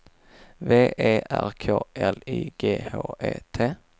V E R K L I G H E T